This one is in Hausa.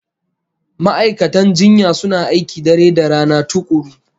Ma'aikatan jinya suna aiki dare da rana tukuru